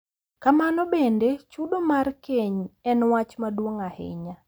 Kamano bende, chudo mar keny en wach maduong’ ahinya .